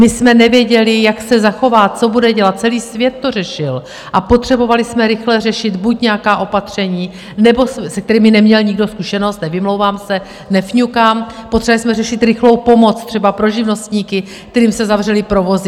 My jsme nevěděli, jak se zachová, co bude dělat, celý svět to řešil, a potřebovali jsme rychle řešit buď nějaká opatření, se kterými neměl nikdo zkušenost - nevymlouvám se, nefňukám, potřebovali jsme řešit rychlou pomoc, třeba pro živnostníky, kterým se zavřely provozy.